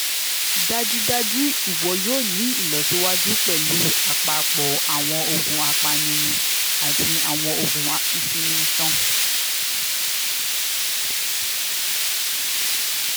dajudaju iwọ yoo ni ilọsiwaju pẹlu apapọ awọn oogun apanirun ati awọn oogun isinmi iṣan